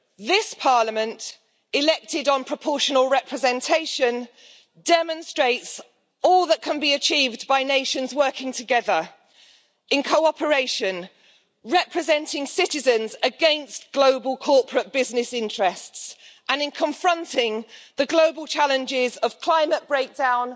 This Parliament, elected on proportional representation, demonstrates all that can be achieved by nations working together in cooperation, representing citizens against global corporate business interests and confronting the global challenges of climate breakdown,